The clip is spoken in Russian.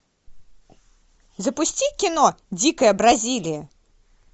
запусти кино дикая бразилия